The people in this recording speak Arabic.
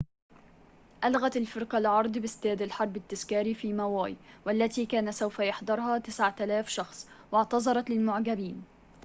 ألغت الفرقة العرض بإستاد الحرب التذكاري في ماوي والتي كان سوف يحضرها 9000 شخص واعتذرت للمعجبين